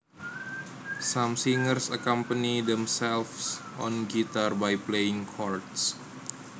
Some singers accompany themselves on guitar by playing chords